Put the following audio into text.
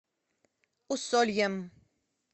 усольем